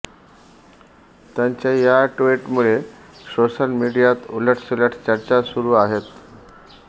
त्यांच्या या ट्विटमुळे सोशल मीडियात उलटसुलट चर्चा सुरू आहेत